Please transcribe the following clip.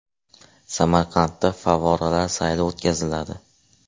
Samarqandda favvoralar sayli o‘tkaziladi.